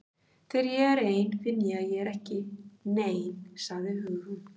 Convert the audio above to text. Þegar ég er ein finn ég að ég er ekki nein- sagði Hugrún.